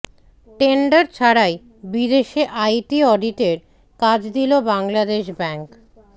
tender ছাড়াই বিদেশে IT অডিটের কাজ দিল বাংলাদেশ ব্যাংক